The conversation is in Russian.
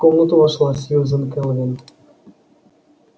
в комнату вошла сьюзен кэлвин